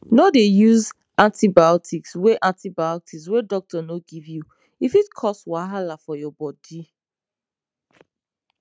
no dey use antibiotics wey antibiotics wey doctor no give you e fit cause wahala for your body